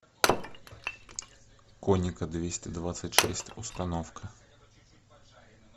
коника двести двадцать шесть установка